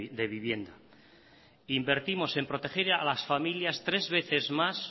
de vivienda invertimos en proteger a las familias tres veces más